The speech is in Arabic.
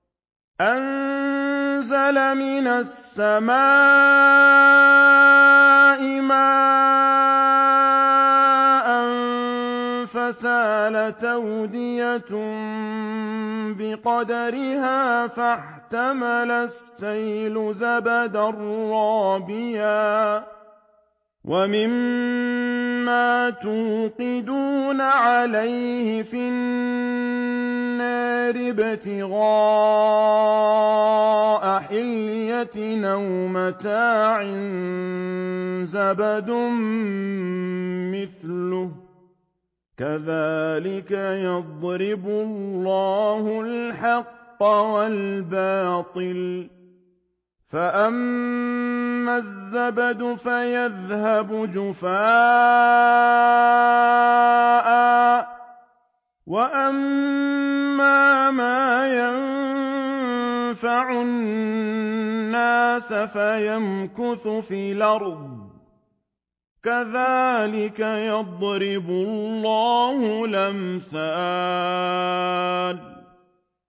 أَنزَلَ مِنَ السَّمَاءِ مَاءً فَسَالَتْ أَوْدِيَةٌ بِقَدَرِهَا فَاحْتَمَلَ السَّيْلُ زَبَدًا رَّابِيًا ۚ وَمِمَّا يُوقِدُونَ عَلَيْهِ فِي النَّارِ ابْتِغَاءَ حِلْيَةٍ أَوْ مَتَاعٍ زَبَدٌ مِّثْلُهُ ۚ كَذَٰلِكَ يَضْرِبُ اللَّهُ الْحَقَّ وَالْبَاطِلَ ۚ فَأَمَّا الزَّبَدُ فَيَذْهَبُ جُفَاءً ۖ وَأَمَّا مَا يَنفَعُ النَّاسَ فَيَمْكُثُ فِي الْأَرْضِ ۚ كَذَٰلِكَ يَضْرِبُ اللَّهُ الْأَمْثَالَ